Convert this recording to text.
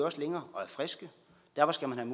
også længere og er friske derfor skal man